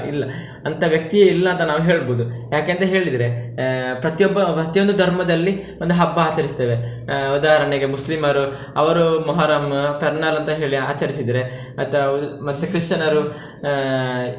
ಇಲ್ಲ ಅಂತ ವ್ಯಕ್ತಿಯೇ ಇಲ್ಲ ಅಂತ ನಾವು ಹೇಳ್ಬೋದು ಯಾಕಂತೆ ಹೇಳಿದ್ರೆ, ಆಹ್ ಪ್ರತಿ ಒಬ್ಬ ಪ್ರತಿ ಒಂದು ಧರ್ಮದಲ್ಲಿ ಒಂದು ಹಬ್ಬ ಆಚರಿಸ್ತೇವೆ, ಆಹ್ ಉದಾಹರಣೆಗೆ ಮುಸ್ಲಿಮರು ಅವರು مُحَرَّم ಪೆರ್ನಾಲ್ ಅಂತ ಹೇಳಿ ಆಚರಿಸಿದ್ರೆ ಅಥವಾ ಮತ್ತೆ ಕ್ರಿಶ್ಚನರು ಆಹ್.